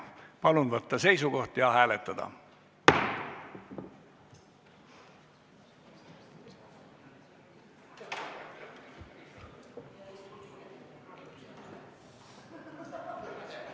Palun võtta seisukoht ja hääletada!